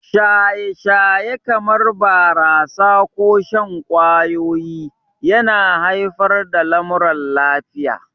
Shaye-shaye, kamar barasa ko shan ƙwayoyi, yana haifar da lamuran lafiya.